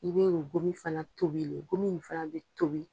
I bɛ o gom fana tobilen, gomi fana bɛ tobi.